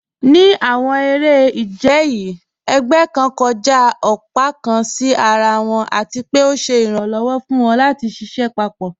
Ní àwọn èrè-ìjẹ̀ yìí, ègbẹ̀ kàn kọ́jà ọ̀pá kàn sí àrà wọn, àti pé ọ̀ sẹ̀ iràǹlọ́wọ̀ fún wọn lati ṣiṣẹ papọ.